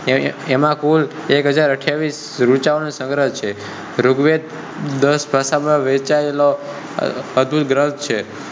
એમાં કુલ એક હજાર અઠવીશ ઋચા નો સંગ્રહ છે. ઋગ્વેદ દસ ભાષા માં વહચયેલો અધ્ભૂત ગ્રંથ છે.